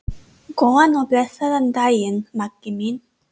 Góðan og blessaðan daginn, Maggi minn.